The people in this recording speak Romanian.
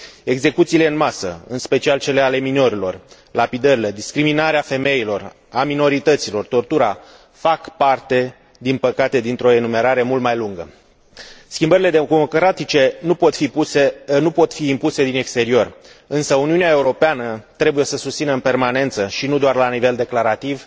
Execuțiile în masă, în special cele ale minorilor, lapidările, discriminarea femeilor, a minorităților, tortura fac parte, din păcate, dintr o enumerare mult mai lungă. Schimbările democratice nu pot fi impuse din exterior, însă Uniunea Europeană trebuie să susțină, în permanență și nu doar la nivel declarativ,